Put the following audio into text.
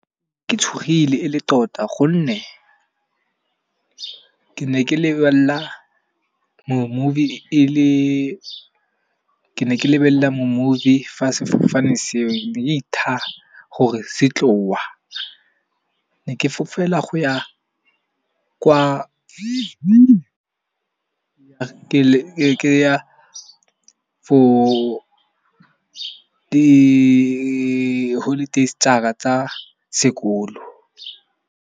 Ke tshogile e le tota gonne ke ne ke lebella me movie fa sefofane seo di tha gore se tlowa. Ne ke fofela go ya kwa ke ya for di holidays tsaka tsa sekolo.